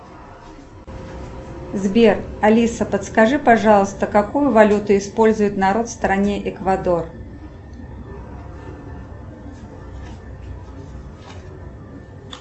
сбер алиса подскажи пожалуйста какую валюту использует народ в стране эквадор